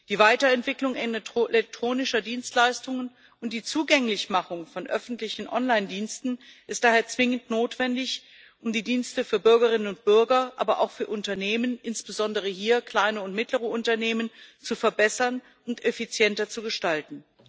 Die Weiterentwicklung elektronischer Dienstleistungen und die Zugänglichmachung von öffentlichen Online Diensten ist daher zwingend notwendig, um die Dienste für Bürgerinnen und Bürger, aber auch für Unternehmen, insbesondere hier kleine und mittlere Unternehmen, zu verbessern und effizienter zu gestalten.